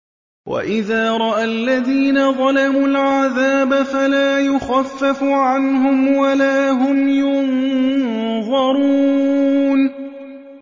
وَإِذَا رَأَى الَّذِينَ ظَلَمُوا الْعَذَابَ فَلَا يُخَفَّفُ عَنْهُمْ وَلَا هُمْ يُنظَرُونَ